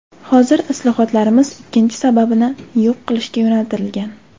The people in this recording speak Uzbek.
Hozir islohotlarimiz ikkinchi sababni yo‘q qilishga yo‘naltirilgan.